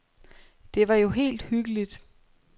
Det var jo helt hyggeligt.